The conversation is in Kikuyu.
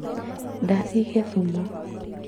Ndathiĩ gĩthumo